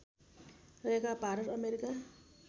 रहेका भारत अमेरिका